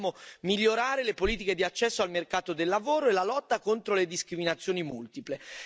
Dobbiamo migliorare le politiche di accesso al mercato del lavoro e la lotta contro le discriminazioni multiple.